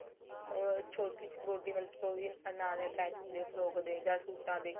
ਉਹ ਛੋਟੀ ਸੀ body ਮਤਲਬ ਕਿ ਉਹ ਵੀ ਨਾਲ attach ਹੁੰਦੀ ਏ ਫਰੋਕ ਦੇ ਜਾਂ ਸੂਟਾ ਤੇ